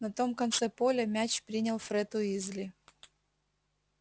на том конце поля мяч принял фред уизли